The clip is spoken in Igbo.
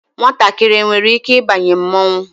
Nwatakịrị enwere ike ịbanye mmọnwụ?